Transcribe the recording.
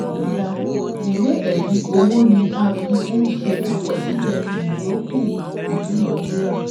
iii) Ìwé ẹ̀rí owó ni a fí ń ṣe àkọsílẹ̀ ìyọ́kù ìdúnadúrà